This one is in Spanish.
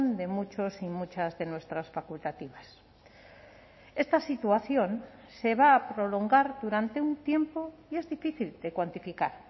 de muchos y muchas de nuestras facultativas esta situación se va a prolongar durante un tiempo y es difícil de cuantificar